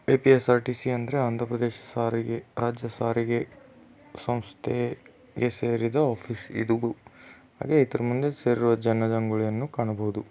APSRTC ಅಂದ್ರೆ ಆಂಧ್ರ ಪ್ರದೇಶ್ ಸಾರಿಗೆ ರಾಜ್ಯ ಸಾರಿಗೆ ಸಂಸ್ಥೆಗೆ ಸೇರಿದ ಆಫೀಸ್ ಇದುದು ಹಾಗೆ ಇದ್ರೂ ಮುಂದೆ ಸೇರಿರೋ ಜನ ಜಂಗುಳಿಯನ್ನು ಕಾಣಬಹುದು.